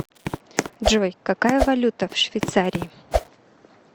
джой какая валюта в швейцарии